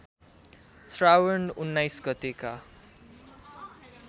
श्रावण १९ गतेका